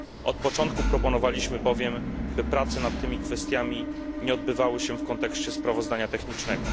Od początku proponowaliśmy bowiem, by prace nad tymi kwestiami nie odbywały się w kontekście sprawozdania technicznego.